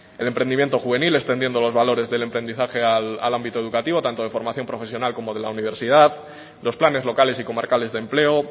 el emprendimiento juvenil extendiendo los valores del emprendizaje al ámbito educativo tanto de formación profesional como de la universidad los planes locales y comarcales de empleo